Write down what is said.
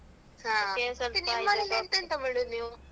ಹ ಎಂತೆಂತ ಮಾಡೋದ್ ನೀವು?